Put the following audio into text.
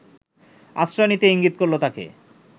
আশ্রয় নিতে ইঙ্গিত করল তাকে